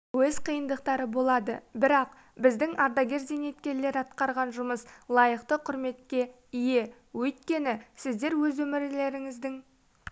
өз қиындықтары болады бірақ біздің ардагер-зейнеткерлер атқарған жұмыс лайықты құрметке ие өйткені сіздер өз өмірлеріңіздің